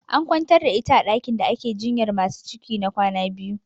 An kwantar da ita a ɗakin da ake jinyar masu ciki na kwana biyu.